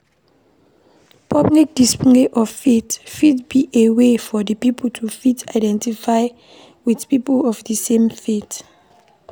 Public display of faith fit be a way for pipo to fit identify with people of di same faith